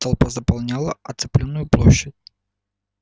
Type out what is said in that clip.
толпа заполняла оцепленную площадь